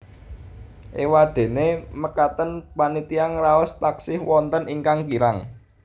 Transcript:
Éwadéné mekaten panitia ngraos taksih wonten ingkang kirang